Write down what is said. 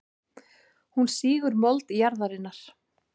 Hún sýgur mold jarðarinnar.